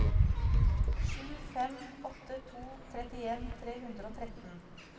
sju fem åtte to trettien tre hundre og tretten